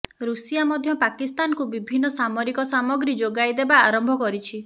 Russia ମଧ୍ୟ ପାକିସ୍ତାନକୁ ବିଭିନ୍ନ ସାମରିକ ସାମଗ୍ରୀ ଯୋଗାଇବା ଆରମ୍ଭ କରିଛି